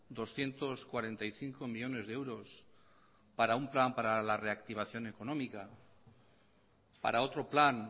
doscientos cuarenta y cinco millónes de euros para un plan para la reactivación económica para otro plan